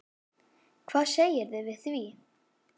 Hvað segirðu við því?